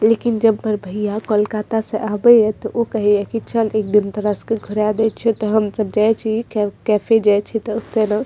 लेकिन जब बड़ भैया कोलकाता से आवे या ते ऊ कहे या कि चल एक दिन तोरा सबके के घुड़ा दे छियो ते हम सब जाय छी क-कैफे जाय छी ते ओय ते --